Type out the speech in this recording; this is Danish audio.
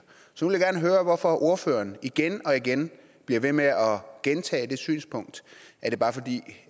så vil jeg gerne høre hvorfor ordføreren igen og igen bliver ved med at gentage det synspunkt